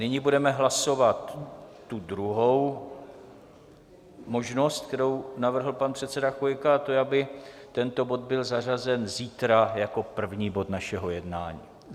Nyní budeme hlasovat tu druhou možnost, kterou navrhl pan předseda Chvojka a to je, aby tento bod byl zařazen zítra jako první bod našeho jednání.